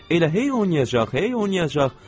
Elə hey oynayacaq, hey oynayacaq.